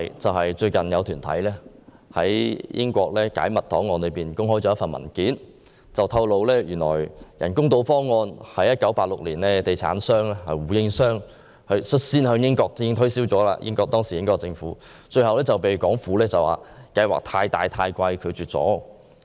最近，有團體在英國解密檔案中發現一份文件，當中顯示人工島方案是地產商胡應湘在1986年率先向英國政府推銷的，但方案最後被港府以過於龐大和昂貴為由拒絕。